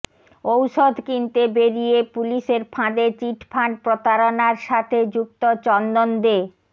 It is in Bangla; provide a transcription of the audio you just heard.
ঔষধ কিনতে বেড়িয়ে পুলিশের ফাঁদে চিটফান্ড প্রতারণার সাথে যুক্ত চন্দন দে